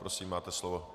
Prosím, máte slovo.